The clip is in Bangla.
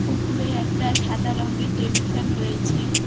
উপরে একটা সাদা রঙের টেবিল ফ্যান রয়েছে।